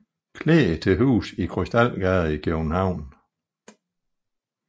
Klee til huse i Krystalgade i København